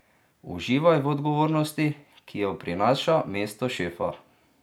Uživaj v odgovornosti, ki jo prinaša mesto šefa!